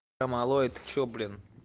малой ты что блин